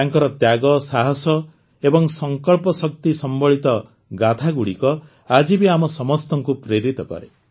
ତାଙ୍କର ତ୍ୟାଗ ସାହସ ଏବଂ ସଂକଳ୍ପ ଶକ୍ତି ସମ୍ବଳିତ ଗାଥାଗୁଡ଼ିକ ଆଜି ବି ଆମ ସମସ୍ତଙ୍କୁ ପ୍ରେରିତ କରେ